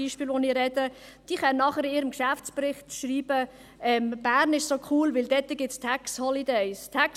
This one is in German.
Diese können in ihrem Jahresbericht schreiben, dass Bern so cool sei, weil es «Tax holidays» gebe.